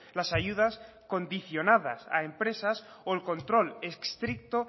las ayudas condicionadas a empresas o el control estricto